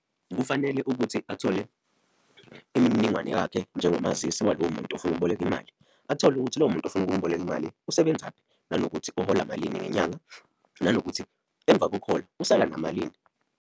Kufanele ukuthi athole imininingwane yakhe, njengomazisi walowo muntu ofuna ukuboleka imali, athole ukuthi lowo muntu ofuna ukumboleka imali usebenzaphi, nanokuthi uhola malini ngenyanga, nanokuthi emva kokuhola usala namalini.